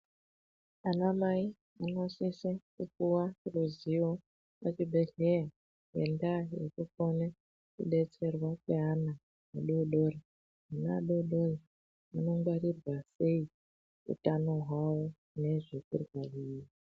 Ana mai anosise kupuva ruzivo muchibhedhleya ngendaa yekukone kubetserwa kweana adodori. Ana adodori anongwarirwa sei kutano hwavo nezvekurya.